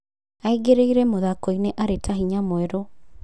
Aingĩrĩre mũthako-inĩarĩ ta hinya mwerũ.